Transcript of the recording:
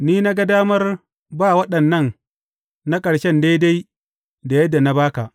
Ni na ga damar ba waɗannan na ƙarshe daidai da yadda na ba ka.